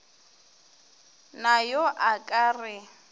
na yo a ka re